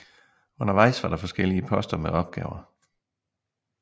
Undervejs var der forskellige poster med opgaver